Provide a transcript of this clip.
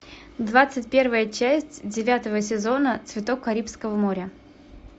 двадцать первая часть девятого сезона цветок карибского моря